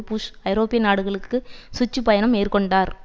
push ஐரோப்பிய நாடுகளுக்கு சுற்று பயணம் மேற்கொண்டார்